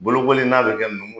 Bolokoli n'a be kɛ ,numu